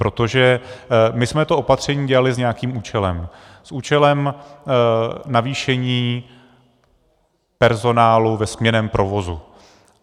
Protože my jsme to opatření dělali s nějakým účelem, s účelem navýšení personálu ve směnném provozu.